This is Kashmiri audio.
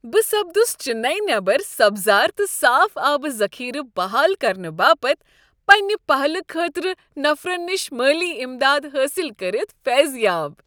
بہٕ سپدس چنیی نیبر سبزار تہٕ صاف آبہٕ ذخیرٕ بحال کرنہٕ باپتھ پنٛنہ پہلہِ خٲطرٕ نفرن نش مٲلی امداد حٲصل کٔرتھ فیضیاب۔